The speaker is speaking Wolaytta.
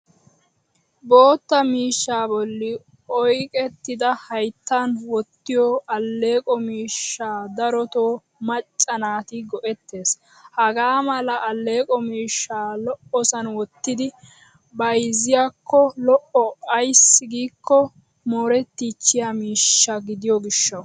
Bootta miishshaa bolli oyiqettida hayittan wottiyo alleeqo miishsha darotoo macca naati go'ettes. Hagaa mala alleeqo miishsha lo'osan wottidi bayzziyaakko lo'o ayssi giikko moorettiichchiya miishsha gidiyo gishshawu.